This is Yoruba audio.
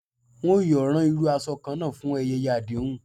Wọn yoo ran iru aṣọ kanna fun ayẹyẹ adehun.